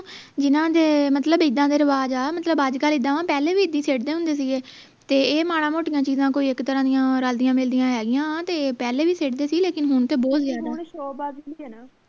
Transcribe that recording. ਜਿੰਨਾ ਦੇ ਮਤਲਬ ਇੱਦਾਂ ਦੇ ਰਿਵਾਜ ਆ ਮਤਲਬ ਅੱਜਕਲ ਇੱਦਾਂ ਪਹਿਲੇ ਵੀ ਇਦਾਂ ਹੀ ਸਿੱਟਦੇ ਹੁੰਦੇ ਸੀ ਗੇ ਤੇ ਇਹ ਮਾੜੀਆਂ ਮੋਟੀਆਂ ਚੀਜਾਂ ਕੋਈ ਇਕ ਤਰ੍ਹਾਂ ਦੀਆਂ ਰਲਦੀਆਂ ਮਿਲਦੀਆਂ ਹੈ ਗਿਆ ਤੇ ਪਹਿਲੇ ਵੀ ਸਿੱਟਦੇ ਸੀ ਲੇਕਿਨ ਹੁਣ ਤੇ ਬਹੁਤ ਜਿਆਦਾ